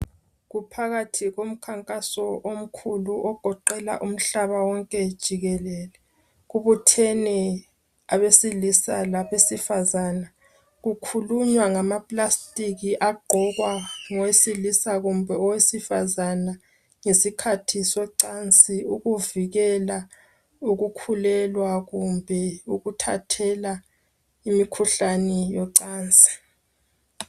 Kuphakathi komkhankaso omkhulu ogoqela umhlaba wonke jikelele. Kubuthene abesilisa labesifazane. Kukhulunywa ngama plastic agqokwa ngowesilisa kumbe owesifazana ngesikhathi socansi ukuvikela ukukhulelwa kumbe ukuthathela imikhuhlani yocansi.